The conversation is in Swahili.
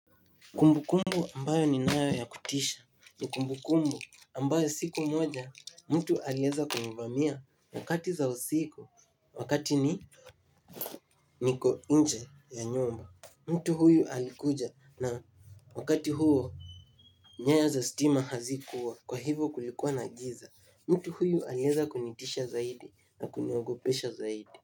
Kumbu kumbu ambayo ni nayo ya kutisha ni kumbu kumbu ambayo siku moja mtu alieza kunivamia wakati za usiku wakati ni niko inje ya nyumba mtu huyu alikuja na wakati huo Nyaya za stima hazikuwa kwa hivo kulikuwa na giza mtu huyu alieza kunitisha zaidi na kuniogopesha zaidi.